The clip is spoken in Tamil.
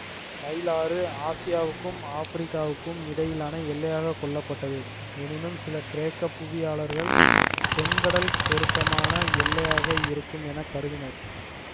நைல் ஆறு ஆசியாவுக்கும் ஆப்பிரிக்காவுக்கும் இடையிலான எல்லையாகக் கொள்ளப்பட்டது எனினும் சில கிரேக்க புவியியாளர் செங்கடல் பொருத்தமான எல்லையாக இருக்கும் என கருதினர்